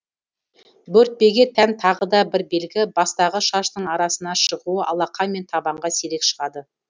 бөртпеге тән тағы да бір белгі бастағы шаштың арасына шығуы алақан мен табанға сирек шығады